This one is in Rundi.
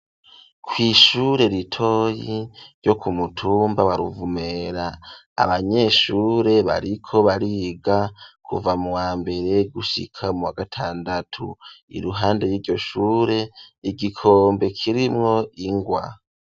Ku ishure ritoyi ryo ku mutumba wa ruvumera abanyeshure bariko bariga kuva mu wa mbere gushika muwa gatandatu iruhande yiryo shure hari igikombe kirimwo ingwa.